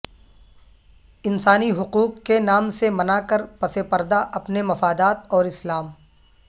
انسانی حقوق کے نام سے منا کر پس پردہ اپنے مفادات اور اسلام